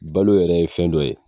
Balo yɛrɛ ye fɛn dɔ ye